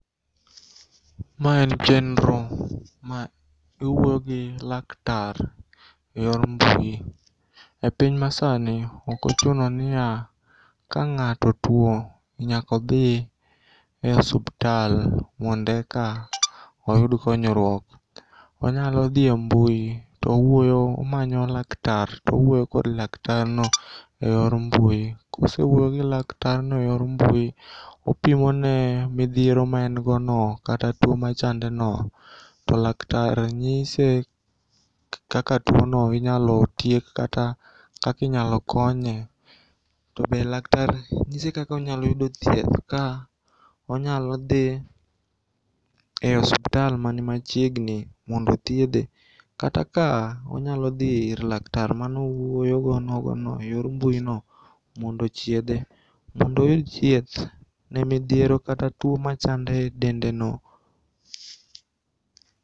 Ma en chenro ma iwuoyo gi laktar e yor mbui.E piny masani okochunoniya kang'ato tuo tnyakodhi e osuptal mondeka oyud konyruok. Onyalo dhie mbui towuoyo, tomanyo laktar towuoyo kod laktarno e yor mbui. Kosewuoyogi laktarno e yor mbui opimone midhiero maengono kata tuo machandeno to laktar nyise kaka tuono inyalo tiek kata kakinyalo konye. To be laktar nyise kakonyaloyudo thieth ka onyalodhie osuptal mani machiegni mondo thiedhe kata ka onyalo dhi ir lakar manowuoyogo nogono e yor mbuino mondo ochiedhe mondo oyud chieth ne midhiero kata tuo machande e dendeno.